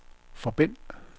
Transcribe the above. forbind